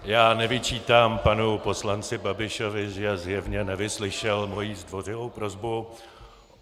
Já nevyčítám panu poslanci Babišovi, že zjevně nevyslyšel moji zdvořilou prosbu.